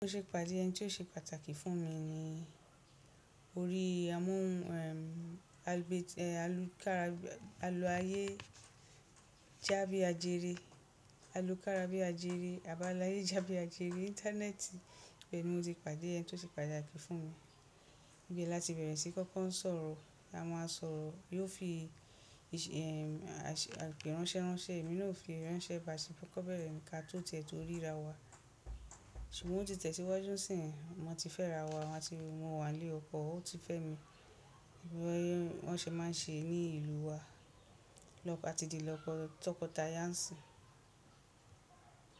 Ó ṣe pàdé ẹni tí ó ṣe pàtàkì fún mi ni orí amó alubé alu kára alu ayé já bí a jere, alu kára bí a jere àbá láyé já bí a jere íńtánẹ́ẹ̀tì, bẹ́ẹ̀ ni mo ti pàdé ẹni tí ó ti pàtàkì fún mi. Bí láti bẹ̀rẹ̀ sí kókó ń sọ̀rọ̀, a máa sọ̀rọ̀, yóò fi ìṣe àìṣe ìránṣẹ́ránṣẹ́, èmi náà ó fi ìránṣẹ́ ba ṣebí kọ́kọ́ bẹ̀rẹ̀, ǹ ka tó tiẹ̀ tó ríra wa. Ṣùgbọ́n ó ti tẹ̀ síwájú nsin, wọ́n ti fẹ́ra wa, a ti mo wa nilé ọkọ, ó ti fe mi. Bí wọ́n ṣe máa ń ṣe ní ìlú wa, lọ a ti di toko tọkọtaya ńsìn.